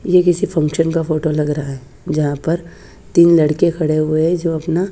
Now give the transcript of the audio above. ये किसी फंक्शन का फोटो लग रहा है जहां पर तीन लड़के खड़े हुए हैं जो अपना--